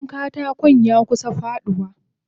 Gidan katakon yakusa faduwa.